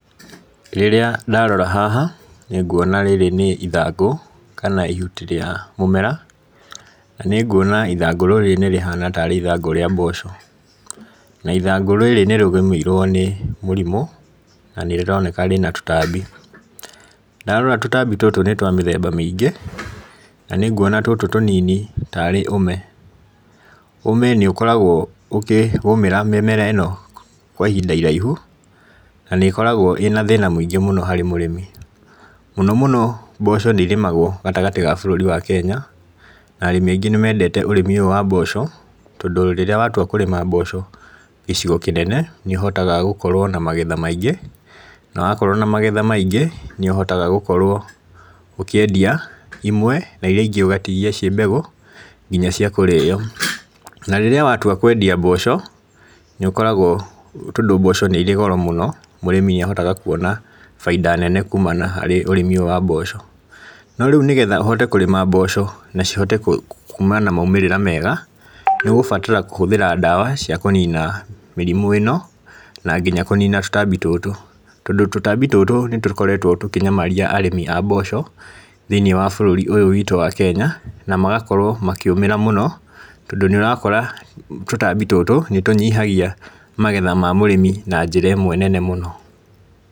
Rĩrĩa ndarora haha, nĩnguona rĩrĩ nĩ ithangũ kana ihuti rĩa mũmera, na nĩ nguona ithangũ rĩrĩ nĩ rĩhana tarĩ ithangũ rĩa mboco, na ithangũ rĩrĩ nĩ rĩgũmĩirwo nĩ mũrimũ, na naĩ rĩroneka rĩna tũtambi, ndarora tũtambi tũtũ nĩ twa mĩthemba mĩingĩ, na nĩ nguona tũtũ tũnini tarĩ ũme, ũme nĩ ũkoragwo ũkĩgũmĩra mĩmera ĩno kwa ihinda iraihu, na nĩ ĩkoragwo ĩna thĩna mũingĩ mũno harĩ mũrĩmi, mũno mũno mboco nĩ irĩmagwo gatagatĩ ga bũrũri wa Kenya, na arĩmi aingĩ nĩ mendete ũrĩmi ũyũ wa mboco, tondũ rĩrĩa watua kũrĩma mboco gĩcigo kĩnene nĩ ũhotaga gũkorwo na magetha maingĩ, na wakorwo na magetha maingĩ, nĩ ũhotaga gũkorwo ũkĩendia imwe na iria ingĩ ũgatigia ciĩ mbegũ nginya cia kũrĩo, na rĩrĩa watua kwendia mboco, nĩ ũkoragwo tondũ mboco nĩ irĩ goro mũno, mũrĩmi nĩ ahotaga kuona bainda nene kuumana harĩ ũrĩmi ũyũ wa mboco, no rĩu nĩgetha ũhote kũrĩma mboco, na cihote kuuma na maumĩrĩra mega, nĩ ũgũbatara kũhũthĩra ndawa cia kũnina mĩrimũ ĩno, na nginya kũnina tũtambi tũtũ, tondũ tũtambi tũtũ nĩ tũkoretwo tũkĩnyamaria arĩmi a mboco, thĩinĩ wa baũrũri ũyũ witũ wa Kenya, na magakorwo makĩũmĩra mũno, tondũ nĩ ũrakora tũtambi tũtũ nĩ tũnyihagia magetha ma mũrĩmi na njĩra ĩmwe nene mũno.